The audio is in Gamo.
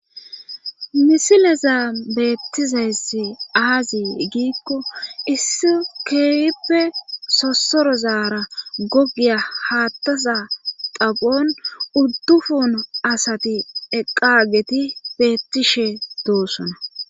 misilezan beettizayssi aazr gikko issi keehippe sossoro zaara gogiya haattaza xaphon uddufun asati eqageti beettishe doossona